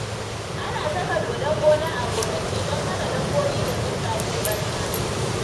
Ana saka dodon gona a gonaki, don hana dabobi da tsuntsaye ɓarna.